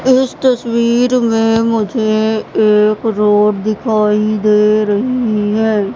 इस तस्वीर मे मुझे एक रोड दिखाई दे रही है।